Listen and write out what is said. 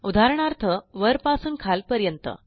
उदाहरणार्थ वरपासून खालपर्यंत